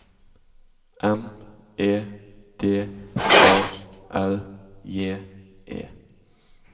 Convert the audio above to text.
M E D A L J E